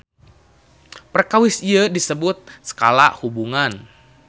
Perkawis ieu disebut skala hubungan.